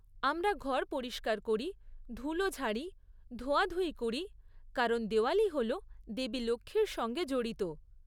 আমরা ঘর পরিষ্কার করি, ধুলো ঝাড়ি, ধোয়াধুয়ি করি, কারণ দেওয়ালি হল দেবী লক্ষ্মীর সঙ্গে জড়িত।